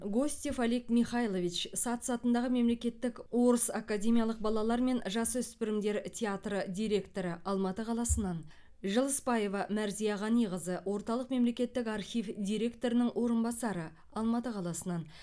гостев олег михайлович сац атындағы мемлекеттік орыс академиялық балалар мен жасөспірімдер театры директоры алматы қаласынан жылысбаева мәрзия ғаниқызы орталық мемлекеттік архив директорының орынбасары алматы қаласынан